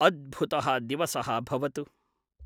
अद्भुतः दिवसः भवतु!